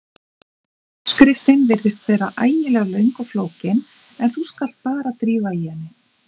Uppskriftin virðist vera ægilega löng og flókin en þú skalt bara drífa í henni.